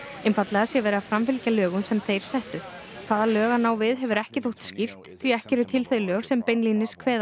einfaldlega sé verið að framfylgja lögum sem þeir settu hvaða lög hann á við hefur ekki þótt skýrt því ekki eru til þau lög sem beinlínis kveða